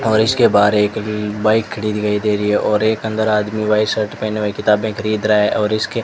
और इसके बाहर एक बाइक खड़ी दिखाई दे रही है और एक अंदर आदमी व्हाइट शर्ट पहने हुए किताबें खरीद रहा है और इसके --